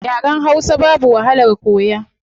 Yaren hausa babu wahalar koya